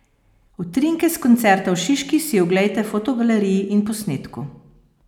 Utrinke s koncerta v Šiški si oglejte v fotogaleriji in posnetku!